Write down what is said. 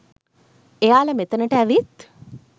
එයාලා මෙතැනට ඇවිත්